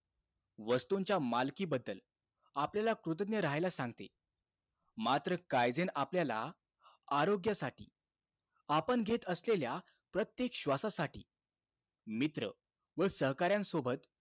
वस्तूंच्या मालकीबद्दल, आपल्याला कृतज्ञ राहायला सांगते. मात्र, काईझेन आपल्याला, आरोग्यासाठी आपण घेत असलेल्या प्रत्येक श्वासासाठी, मित्र व सहकाऱ्यांसोबत,